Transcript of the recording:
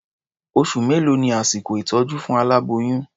Oṣù mélòó ni àsìkò ìtọ́jú fún aláboyún?